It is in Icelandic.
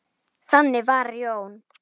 Þannig var Jón.